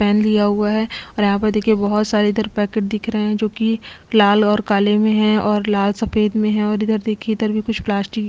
pen लिया हुआ है और यहाँ पर देखिये बहुत सारे इधर पैकेट दिख रहे है जो की लाल और काले में है और लाल सफ़ेद में है और इधर देखिये इधर भी कुछ प्लास्टिक --